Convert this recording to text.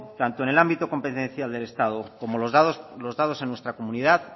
tanto en el ámbito competencia del estado como los dados en nuestra comunidad